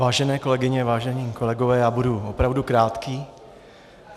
Vážené kolegyně, vážení kolegové, já budu opravdu krátký.